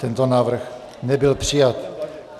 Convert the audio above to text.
Tento návrh nebyl přijat.